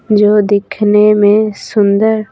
जो दिखने में सुंदर--